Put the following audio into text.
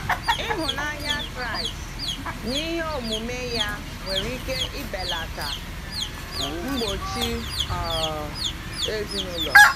Ịhụnanya Kraịst n’ihe omume ya nwere ike belata mgbochi um ezinụlọ.